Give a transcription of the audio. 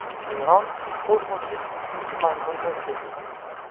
Eron kosmosga ikkinchi maymunni uchirdi.